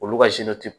Olu ka ti